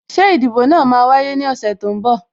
Ṣé ìdìbò náà máa wáyé ní ọ̀sẹ̀ tó ń bọ̀?